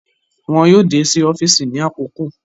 Wọn yoo de si ọfiisi ni akoko